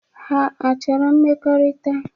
Ha achọrọ mmekọrịta?